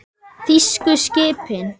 Þýsku skipin.